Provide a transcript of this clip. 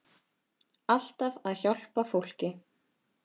Alltaf að hjálpa fólki.